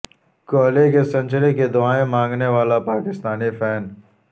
کوہلی کی سنچری کی دعائیں مانگنے والا پاکستانی فین